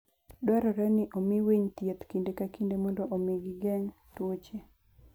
Dwarore ni omi winy thieth kinde ka kinde mondo omi gigeng' tuoche.